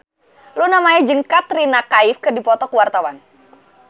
Luna Maya jeung Katrina Kaif keur dipoto ku wartawan